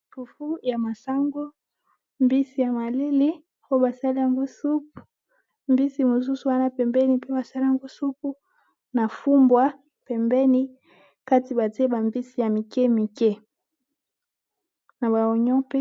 Fufu ya masangu , mbisi ya maleli po basali yango supu mbisi mosusu wana pembeni, pe basali yango supu na fumbwa pembeni kati batyeba mbisi ya mike mike na baonio